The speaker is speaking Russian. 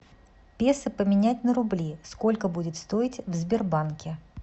песо поменять на рубли сколько будет стоить в сбербанке